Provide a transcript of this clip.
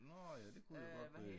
Nå ja det kunne det godt øh